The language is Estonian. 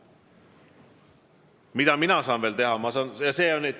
Mida mina saan veel teha?